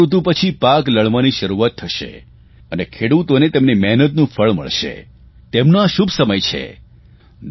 વસંતુ ઋતુ પછી પાક લણવાની શરૂઆત થશે અને ખેડૂતોને તેમની મહેનતનું ફળ મળશે તેમનો આ શુભ સમય છે